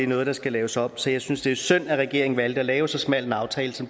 noget der skal laves om så jeg synes det er synd at regeringen valgte at lave så smal en aftale som